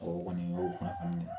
Ɔ o kɔni y'o kunnafoni ye